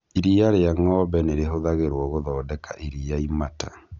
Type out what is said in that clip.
Iria rĩa ng'ombe nĩ rĩhũthagĩrwo gũthondeka iria imata.